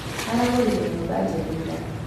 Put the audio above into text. Aragũrire nyũmba njerũ ira